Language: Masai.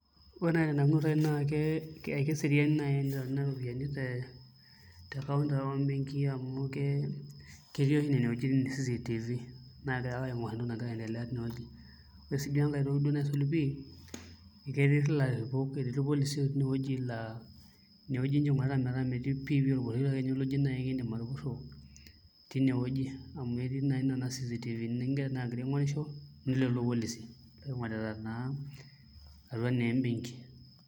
Ore naai tenanu ekeserian naai tenitauni kuna ropiyiani te counter ake amu ketii oshi nena wuejitin CCTV naagira ake aing'orr entoki nagira aiendelea tinewueji ore sii duo enkae toki naisul pii eketii ilarripok, etii irpolisi ootoni tinewueji laa inewueji ninche ing'orita metaa metii pii orpurrishoi naai oji kiindim atupurro tinewueji amu etii naa nena CCTV naagira aing'orisho netii lelo polisi oing'orita naa atua naa embenki.